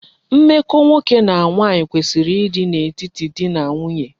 Mmeko nwoke na nwanyi kwesiri di n'etiti dị na nwunye.